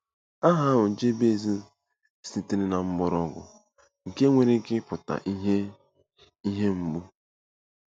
Aha ahụ Jebez sitere na mgbọrọgwụ nke nwere ike ịpụta "ihe "ihe mgbu."